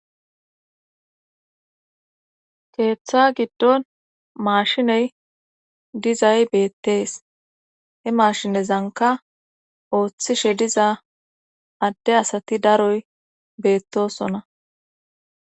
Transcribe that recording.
keeththa giddon maashiney dizay beettees he maashinezanka ooththishe diza adde asati daroy beettosona